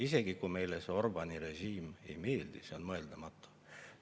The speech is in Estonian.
Isegi kui meile Orbáni režiim ei meeldi, on see mõeldamatu.